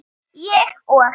Ég og